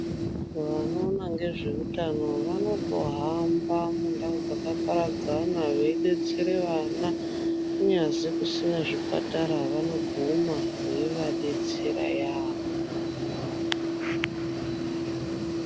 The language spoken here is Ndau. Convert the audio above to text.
Vanoona ngezveutano vanotohamba mundau dzakaparadzana veidetsere vana. Kunyazi kusina zvipatara vanoguma veivadetsera yaambo.